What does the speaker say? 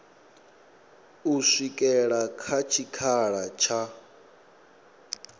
u swikela kha tshikhala tsha